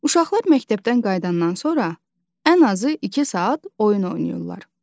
Uşaqlar məktəbdən qayıdandan sonra ən azı iki saat oyun oynayırlar.